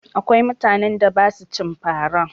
Akwai mutanen da ba sua cin fa ra